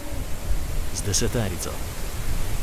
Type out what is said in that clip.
Z deseterico.